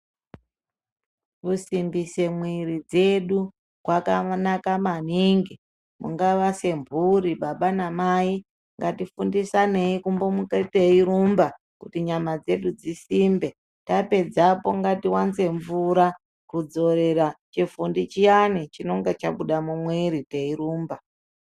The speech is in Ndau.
Kusimbise mwiri dzedu kwakanaka maningi mungava semhuri baba namai ngatifundisanei kumbomuka teirumba kuti nyama dzedu dzisimbe. Tapedzapo ngativanze mvura kudzorera chifundi chiyani chinenge chabuda mumwiri teirumba.